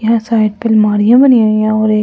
यहाँ साइड पे मालिया बनी हुई हैं एक छोटा-सा बच्चा द--